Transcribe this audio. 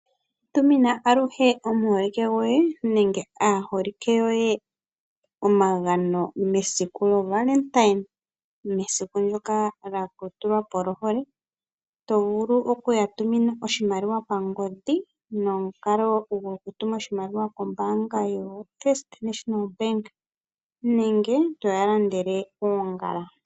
Tumina aluhe omuholike goye nenge aaholike yoye omagano mesiku lyoValentine mesiku lyoka lya tulwa po lyohole, to vulu oku ya tumina oshimaliwa pangodhi nomukalo gokutuma oshimaliwa kombaanga yoFNB nenge toya landele oongala.